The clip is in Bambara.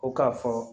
Ko k'a fɔ